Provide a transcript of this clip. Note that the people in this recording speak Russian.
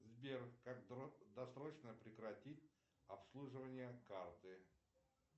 сбер как досрочно прекратить обслуживание карты